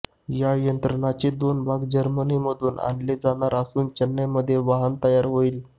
या यंत्रणेचे दोन भाग जर्मनीमधून आणले जाणार असून चेन्नईमध्ये वाहन तयार होईल